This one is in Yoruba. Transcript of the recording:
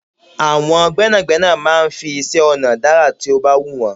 Àwọn gbẹ́nàgbẹ́nà máa ń fi iṣẹ́-ọ̀nà dá àrà to bá wù wọ́n.